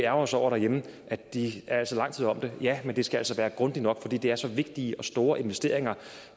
os over derhjemme at de er lang tid om det ja men det skal altså være grundigt nok fordi det er så vigtige og store investeringer